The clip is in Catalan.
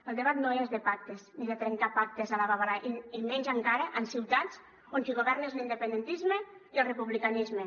el debat no és de pactes ni de trencar pactes a la babalà i menys encara en ciutats on qui governa és l’independentisme i el republicanisme